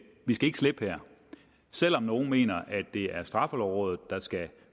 ikke slippe her selv om nogle mener at det er straffelovrådet der skal